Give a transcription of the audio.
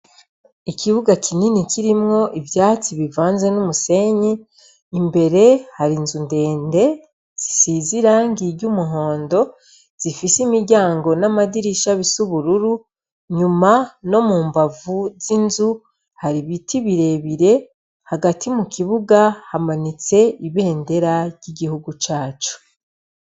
Ikibuga kinini kirimwo ivyatsi n'umusenyi, imbere har'inzu ndende zisize irangi ry'umuhondo, zifise imiryango n'amadirisha zis'ubururu, nyuma no mu mbavu har'ibiti birebire, hagati mukibuga hamanitse ibendera ry'igihugu c'uburundi.